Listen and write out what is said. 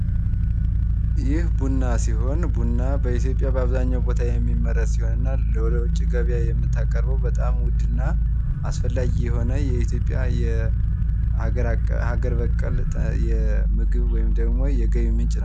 ይህ ቡና ሲሆን ቡና ኢትዮጵያ በአብዛኛው ቦታ የሚመረት እና ወደ ውጭ ገበያ የምታቀርበው እጅግ ውድ እና አስፈላጊ የሆነ የኢትዮጵያ የሀገር በቀል የምግብ ወይም ደግሞ የገቢ ምንጭ ነው።